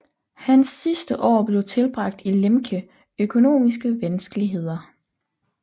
Hans sidste år blev tilbragt i Lemke økonomiske vanskeligheder